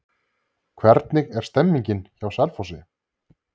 Hvernig er stemningin hjá Selfossi?